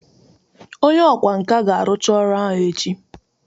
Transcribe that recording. Onye ọkwá nkà ga-arụcha ọrụ ahụ echi